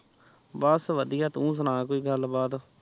ਬਸਵਧਿਆ ਤੂੰ ਸਨ ਕੋਈ ਗੱਲ ਬਾਤ